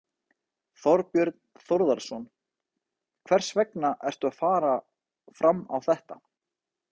Þorbjörn Þórðarson: Hvers vegna ertu að fara fram á þetta?